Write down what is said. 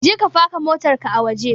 Je ka faka motar ka a waje!